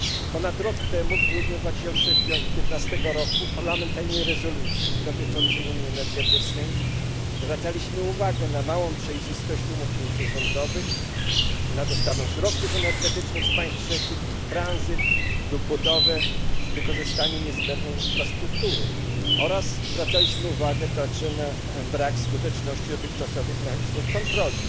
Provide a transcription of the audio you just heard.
Ponad rok temu, w grudniu 2015 roku, w parlamentarnej rezolucji dotyczącej unii energetycznej zwracaliśmy uwagę na małą przejrzystość umów międzyrządowych, na dostawę i tranzyt surowców energetycznych z państw trzecich lub budowę i wykorzystanie niezbędnej infrastruktury oraz zwracaliśmy uwagę na brak skuteczności dotychczasowych mechanizmów kontroli.